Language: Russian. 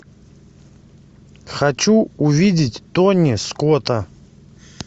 хочу увидеть тони скотта